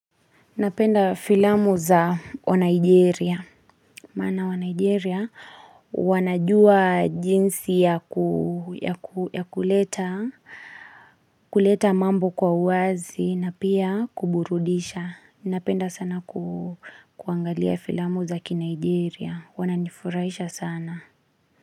Napenda filamu za wa Nigeria, maana wa Nigeria wanajua jinsi ya kuleta, kuleta mambo kwa wazi na pia kuburudisha. Napenda sana kuangalia filamu za ki Nigeria, wananifurahisha sana.